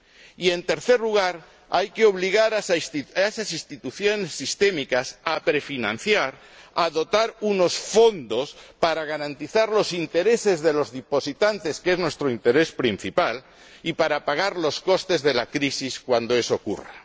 Y, en tercer lugar, hay que obligar a esas instituciones sistémicas a prefinanciar, a dotar unos fondos para garantizar los intereses de los depositantes, que es nuestro interés principal, y para pagar los costes de la crisis cuando eso ocurra.